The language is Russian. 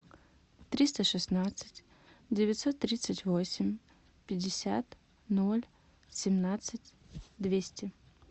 триста шестнадцать девятьсот тридцать восемь пятьдесят ноль семнадцать двести